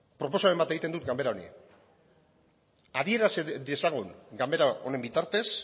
proposamen bat egiten dut ganbara honi adieraz dezagun ganbara honen bitartez